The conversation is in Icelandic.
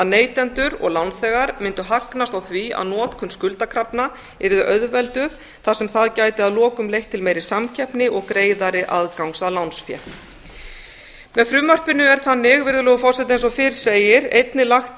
neytendur og lánþegar mundu hagnast á því að notkun skuldakrafna yrði auðvelduð þar sem það gæti að lokum leitt til meiri samkeppni og greiðari aðgangs að lánsfé með frumvarpinu er þannig virðulegur forseti eins og fyrr segir einnig lagt